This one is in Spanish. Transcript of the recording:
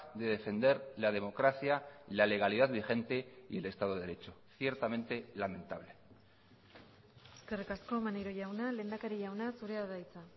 de defender la democracia la legalidad vigente y el estado de derecho ciertamente lamentable eskerrik asko maneiro jauna lehendakari jauna zurea da hitza